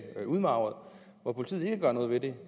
udmarvede og hvor politiet ikke gør noget ved det og